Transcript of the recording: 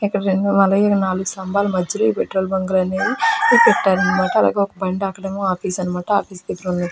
ఇక్కడ రెండు అలాగే నాలుగు స్తంభాల మధ్యలో ఈ పెట్రోల్ బంక్ లు అనేవి పెట్టారన్నమాట. అలాగే ఒక బండి అక్కడేమో ఆఫీస్ అన్నమాట. ఆఫీస్ దగ్గర ఉన్న--